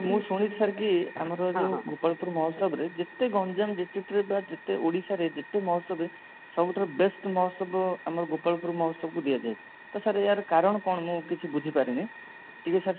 ମୁଁ ଶୁଣିଛି sir କି ଆମର ଯଉ ଗୋପାଳପୁର ମହୋତ୍ସବ ରେ ଯେତେ ଗଞ୍ଜାମ district re ବା ଯେତେ ଓଡ଼ିଶାରେ ଯେତେ ମହୋତ୍ସବ ସବୁଠାରୁ best ମହୋତ୍ସବ ଆମ ଗୋପାଳପୁର ମହୋତ୍ସବ କୁ ହିଁ ଦିଆଯାଏ ତ sir ଏହାର କାରଣ କଣ ମୁଁ କିଛି ବୁଝି ପାରିନି ଟିକେ sir